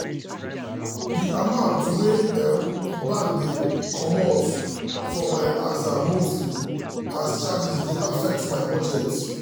de amount wey um bank dey comot um for my aza monthly um as charges dey affect my budget.